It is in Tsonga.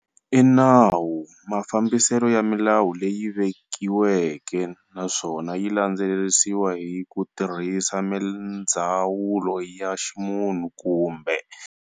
I nawu mafambisele ya milawu leyi vekiweke naswona yi landzelerisiwa hi kutirhisa mindzawulo ya ximunhu kumbe.